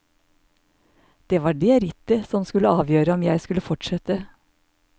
Det var det rittet som skulle avgjøre om jeg skulle fortsette.